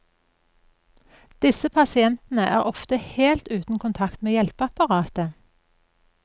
Disse pasientene er ofte helt uten kontakt med hjelpeapparatet.